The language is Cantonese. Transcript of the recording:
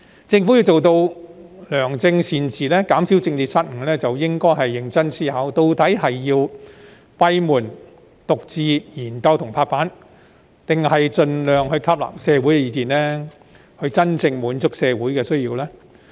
政府要做到良政善治，減少施政失誤，便應認真思考，究竟要閉門獨自研究及拍板，還是盡量吸納社會意見，以真正滿足社會需要呢？